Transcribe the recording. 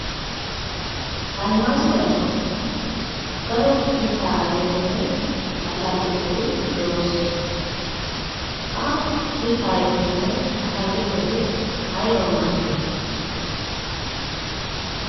Almazzi darkkon daro mittaa ayfettinne ataakiltteti de'osonna, ha mitta ayfettinne ataakiltteti aybawu maadiyoona?